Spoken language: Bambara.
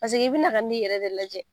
Paseke i bɛna ka n'i yɛrɛ de lajɛ